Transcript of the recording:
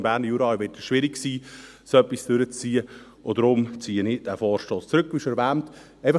Im Berner Jura wird es schwierig sein, so etwas durchzuziehen, und deshalb ziehe ich den Vorstoss, wie schon erwähnt, zurück.